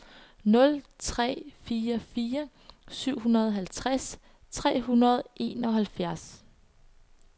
nul tre fire fire syvoghalvtreds tre hundrede og enoghalvtreds